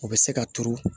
O bɛ se ka turu